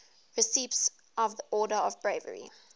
recipients of the order of bravery